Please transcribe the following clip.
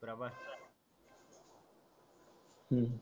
हम्म